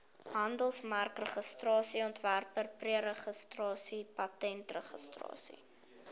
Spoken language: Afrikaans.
handelsmerkregistrasie ontwerpregistrasie patentregistrasie